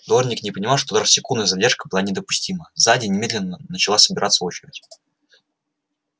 дорник не понимал что даже секундная задержка была недопустима сзади немедленно начала собираться очередь